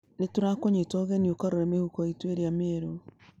Nĩ tũrakũnyita ũgeni ũkarore mĩhuko itũ ĩrĩa njerũ.